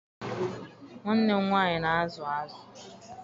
Nwanne m nwaanyị na-azụ azụ.